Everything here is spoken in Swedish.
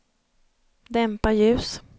dämpa ljus